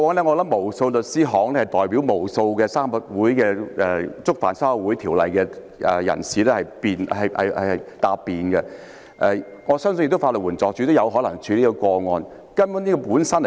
過往不少律師行曾代表無數觸犯《社團條例》的人士答辯，我也相信法援署可能曾處理此類個案。